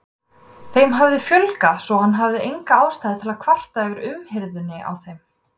Þeim hafði fjölgað, svo hann hafði enga ástæðu til að kvarta yfir umhirðunni á þeim.